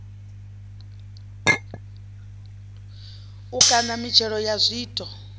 u kaṋa mitshelo ya zwiito